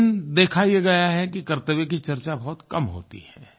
लेकिन देखा ये गया है कि कर्तव्य की चर्चा बहुत कम होती है